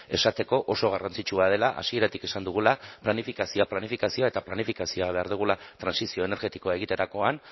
esateko oso garrantzitsua dela hasieratik esan dugula planifikazioa planifikazioa eta planifikazioa behar dugula trantsizio energetikoa egiterakoan